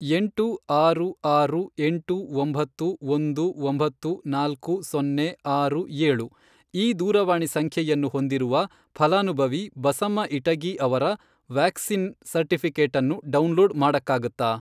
ಎಂಟು ಆರು ಆರು ಎಂಟು ಒಂಬತ್ತು ಒಂದು ಒಂಬತ್ತು ನಾಲ್ಕು ಸೊನ್ನೆ ಆರು ಏಳು ಈ ದೂರವಾಣಿ ಸಂಖ್ಯೆಯನ್ನು ಹೊಂದಿರುವ ಫಲಾನುಭವಿ ಬಸಮ್ಮಇಟಗಿ ಅವರ ವ್ಯಾಕ್ಸಿನ್ ಸರ್ಟಿಫಿಕೇಟನ್ನು ಡೌನ್ಲೋಡ್ ಮಾಡಕ್ಕಾಗತ್ತಾ?